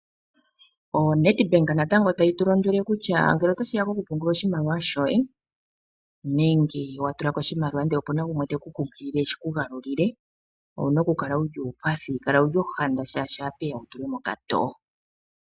ONedbank natango tayi tu londele kutya ngele tashiya kokupungula oshimaliwa shoye, nenge wa tula ko oshimaliwa ashike opuna gumwe teku kunkilile eshi ku galulile owuna okukala wu li uupathi. Kala wu li ohanda oshoka, otashi vulika wu tulwe mokatoo.